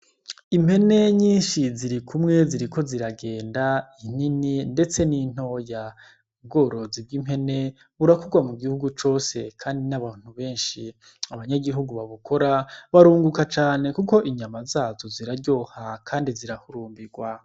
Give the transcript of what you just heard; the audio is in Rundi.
Impene nyinshi ziri kumwe ziriko ziragenda, inini ndetse n'intoya. Ubworozi bw'impene burakorwa mu gihugu cose kandi n'abantu benshi. Abanyagihugu babukora barunguka cane kuko inyama zazo ziraryoha kandi zirahurumbirwa.